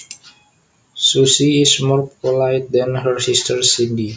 Susie is more polite than her sister Cindy